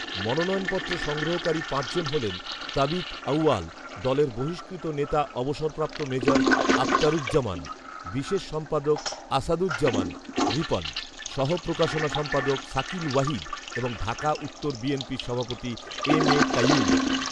মনোনয়নপত্র সংগ্রহকারী পাঁচজন হলেন, তাবিথ আঊয়াল, দলের বহিষ্কৃত নেতা অবসরপ্রাপ্ত মেজর আখতারুজ্জামান, বিশেষ সম্পাদক আসাদুজ্জামান রিপন, সহ প্রকাশনা সম্পাদক শাকিল ওয়াহিদ এবং ঢাকা উত্তর বিএনপির সভাপতি এম এ কাইয়ুম